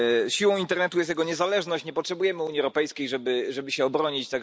Siłą internetu jest jego niezależność nie potrzebujemy Unii Europejskiej, żeby żeby się obronić.